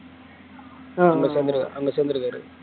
அஹ் அங்க சேர்ந்திரு~ அங்க சேர்ந்திருங்க